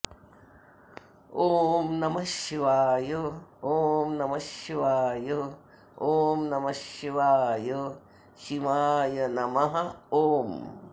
ॐ नमः शिवाय ॐ नमः शिवाय ॐ नम शिवाय शिवाय नम ॐ